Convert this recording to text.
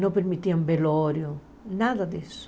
Não permitiam velório, nada disso.